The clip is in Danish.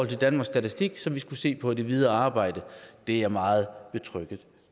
til danmarks statistik som vi skal se på i det videre arbejde det er jeg meget betrygget